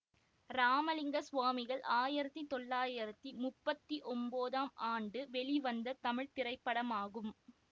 ராமலிங்க சுவாமிகள் ஆயிரத்தி தொள்ளாயிரத்தி முப்பத்தி ஒம்போதம் ஆண்டு வெளிவந்த தமிழ் திரைப்படமாகும்